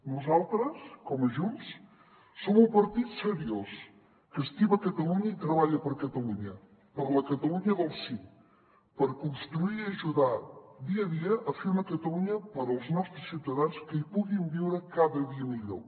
nosaltres com a junts som un partit seriós que estima catalunya i treballa per catalunya per la catalunya del sí per construir i ajudar dia a dia a fer una catalunya per als nostres ciutadans que hi puguin viure cada dia millor